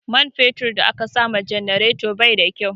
Man fetur da aka sama janareton bai da kyau